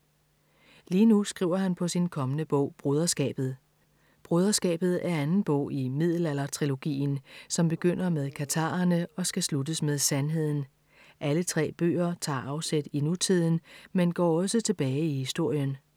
Lige nu skriver han på sin kommende bog Broderskabet. Broderskabet er anden bog i Middelaldertrilogien, som begynder med Katharerne og skal sluttes med Sandheden. Alle tre bøger tager afsæt i nutiden, men går også tilbage i historien.